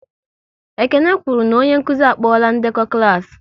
Ekene kwụrụ na onye nkụzi a kpola ndekọ klas